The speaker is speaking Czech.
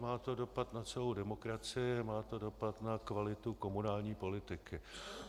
Má to dopad na celou demokracii, má to dopad na kvalitu komunální politiky.